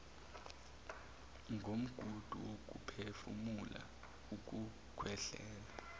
komgudu wokuphefumula ukukhwehlela